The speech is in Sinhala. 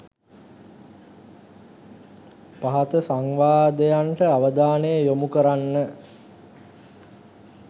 පහත සංවාදයන්ට අවධානය යොමු කරන්න.